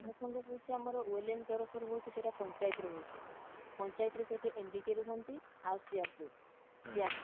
ମହାସଂଘ ହଉଛି ଆମର oelin ତରଫ ରୁ ହଉଛି ସେଇଟା ପଞ୍ଚାୟତରେ ହଉଛି ପଞ୍ଚାୟତରେ ସେଠି MBK ରୁହନ୍ତି ଆଉ CRP CRP